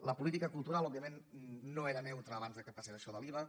la política cultural òbviament no era neutra abans que passés això de l’iva